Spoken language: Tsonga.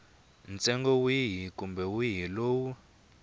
ntsengo wihi kumbe wihi lowu